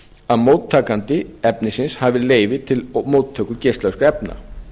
að móttakandi efnisins hafi leyfi til móttöku geislavirkra efna